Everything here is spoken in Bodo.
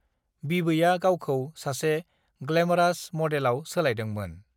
बिबैआ गावखौ सासे ग्लैमरास मडेलआव सोलायदोंमोन।